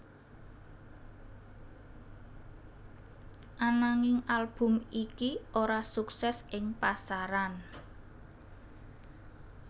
Ananging album iki ora suksès ing pasaran